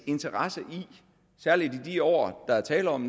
interesse særlig i de år der er tale om